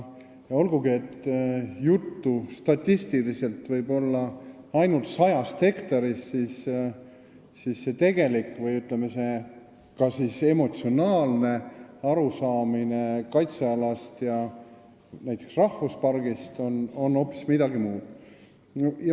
Olgugi, et statistiliselt võib juttu olla ainult 100 hektarist, siis tegelik, ütleme, emotsionaalne arusaamine kaitsealast ja näiteks rahvuspargist on hoopis midagi muud.